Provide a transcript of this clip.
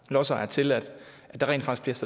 lodsejer til at der rent faktisk